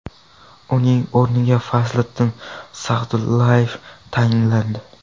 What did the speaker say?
Uning o‘rniga Fazliddin Sagdullayev tayinlandi.